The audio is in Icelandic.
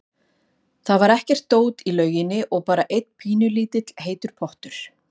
Það var ekkert dót í lauginni og bara einn pínulítill heitur pottur.